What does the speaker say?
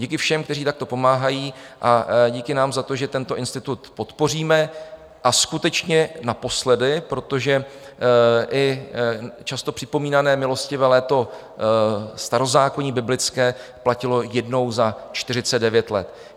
Díky všem, kteří takto pomáhají a díky nám za to, že tento institut podpoříme, a skutečně naposledy, protože i často připomínané milostivé léto starozákonní biblické platilo jednou za 49 let.